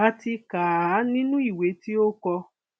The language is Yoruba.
a ti kà á nínú ìwé tí o kọ